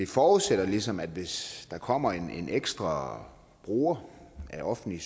forudsætter ligesom at hvis der kommer en ekstra bruger af offentlig